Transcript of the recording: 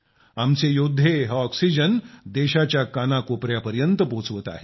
आमचे योद्धे हा ऑक्सिजन देशाच्या काना कोपयात पोहोचवत आहेत